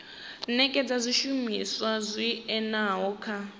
nekedza zwishumiswa zwi oeaho kha